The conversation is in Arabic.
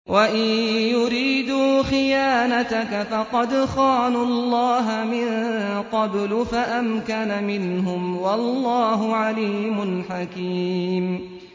وَإِن يُرِيدُوا خِيَانَتَكَ فَقَدْ خَانُوا اللَّهَ مِن قَبْلُ فَأَمْكَنَ مِنْهُمْ ۗ وَاللَّهُ عَلِيمٌ حَكِيمٌ